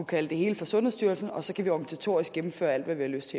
kalde det hele for sundhedsstyrelsen og så kan vi organisatorisk gennemføre alt hvad vi har lyst